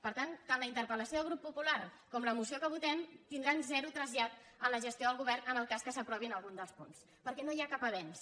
per tant tant la interpel·grup popular com la moció que votem tindran zero trasllat en la gestió del govern en el cas que se n’apro·vi algun dels punts perquè no hi ha cap avenç